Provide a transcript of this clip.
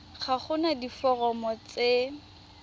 ga go na diforomo tse